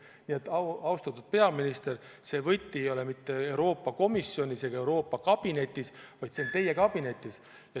Nii et, austatud peaminister, see võti ei ole mitte Euroopa Komisjonis ega Euroopa kabinetis, vaid see on teie kabinetis.